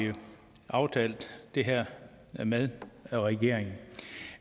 aftalt det her med regeringen